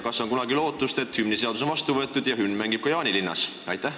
Kas on kunagi lootust, et hümniseadus on vastu võetud ja hümn mängib ka Jaanilinnas?